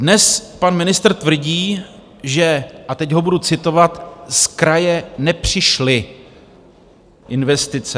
Dnes pan ministr tvrdí, že - a teď ho budu citovat: "z kraje nepřišly investice".